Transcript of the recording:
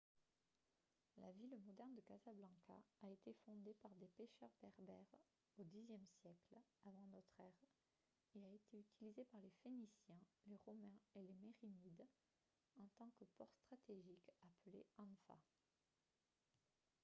la ville moderne de casablanca a été fondée par des pécheurs berbères au xe siècle avant notre ère et a été utilisée par les phéniciens les romains et les mérinides en tant que port stratégique appelé anfa